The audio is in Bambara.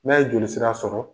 Ne ye jolisira sɔrɔ